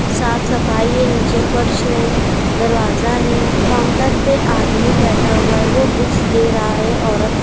साफ सफाई है नीचे फर्श है दरवाजा है काउंटर पे आदमी बैठा हुआ है वो बुक्स दे रहा है औरत को।